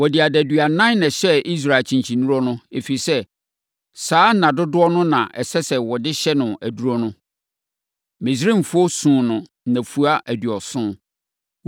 Wɔde adaduanan na ɛhyɛɛ Israel akyenkyennuro no, ɛfiri sɛ, saa nna dodoɔ no na ɛsɛ sɛ wɔde hyɛ no aduro no. Misraimfoɔ suu no nnafua aduɔson.